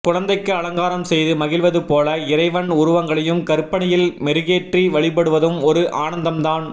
குழந்தைக்கு அலங்காரம் செய்து மகிழ்வது போல இறைவன் உருவங்களையும் கற்பனையில் மெருகேற்றி வழிபடுவதும் ஒரு ஆனந்தம்தான்